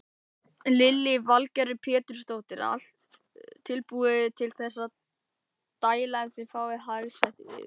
Lillý Valgerður Pétursdóttir: Er allt tilbúið til þess að dæla ef þið fáið hagstætt veður?